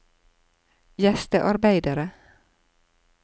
gjestearbeidere